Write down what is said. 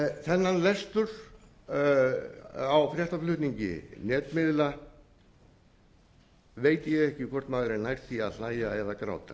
þennan lestur á fréttaflutningi netmiðla veit ég ekki hvort maður nær því að hlæja eða gráta